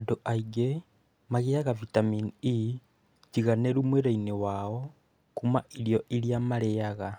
Andũ aingĩ magĩaga vitamini E njiganĩru mwĩrĩinĩ wao kuma irio iria marĩaga.